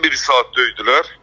Bizi bir saat döydülər.